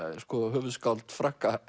höfuðskáld Frakka